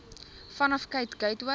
vanaf cape gateway